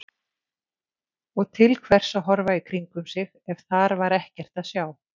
Og til hvers að horfa í kringum sig ef þar var ekkert að sjá?